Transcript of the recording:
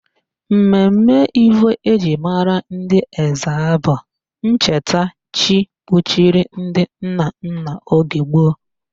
Mmemme Ivo eji mara ndị Ezza bụ ncheta chi kpuchiri ndị nna nna oge gboo